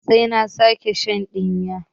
Sai an sake sin ɗinnan